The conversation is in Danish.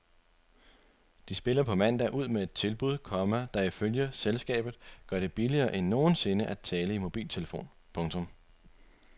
De spiller på mandag ud med et tilbud, komma der ifølge selskabet selv gør det billigere end nogensinde tidligere at tale i mobiltelefon. punktum